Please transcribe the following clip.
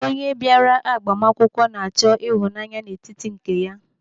Onye bịara agbamakwụkwọ na-achọ ịhụnanya n'etiti nke ya.